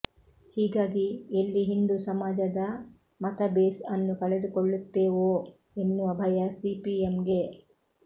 ಹೀಗಾಗಿ ಎಲ್ಲಿ ಹಿಂದೂ ಸಮಾಜದ ಮತ ಬೇಸ್ ಅನ್ನು ಕಳೆದುಕೊಳ್ಳು ತ್ತೇವೋ ಎನ್ನುವ ಭಯ ಸಿಪಿಎಂಗೆ